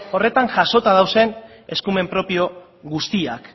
horretan jasota dauden eskumen propio guztiak